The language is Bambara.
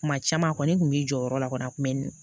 Kuma caman a kɔni kun b'i jɔ yɔrɔ la kɔni a kun bɛ